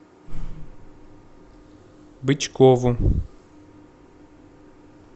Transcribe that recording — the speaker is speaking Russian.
бычкову